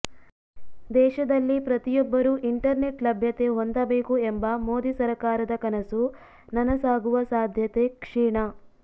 ದೇಶದಲ್ಲಿ ಪ್ರತಿಯೊಬ್ಬರೂ ಇಂಟರ್ನೆಟ್ ಲಭ್ಯತೆ ಹೊಂದಬೇಕು ಎಂಬ ಮೋದಿ ಸರಕಾರದ ಕನಸು ನನಸಾಗುವ ಸಾಧ್ಯತೆ ಕ್ಷೀಣ